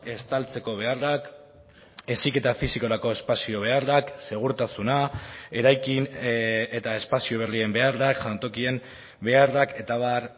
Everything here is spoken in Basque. estaltzeko beharrak heziketa fisikorako espazio beharrak segurtasuna eraikin eta espazio berrien beharrak jantokien beharrak eta abar